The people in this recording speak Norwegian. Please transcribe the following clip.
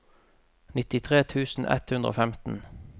nittitre tusen ett hundre og femten